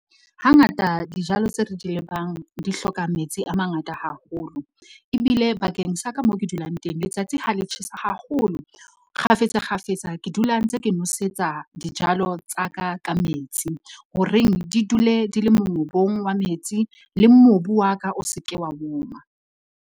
Hangata dijalo tseo re di di hloka metsi a mangata haholo, ebile bakeng sa ka moo ke dulang teng letsatsi ha le tjhesa haholo. Kgafetsa kgafetsa, ke dula ntse ke nwesetsa dijalo tsa ka, ka metsi ho reng di dule di le mongobong wa metsi le mobu wa ka o se ke wa woma.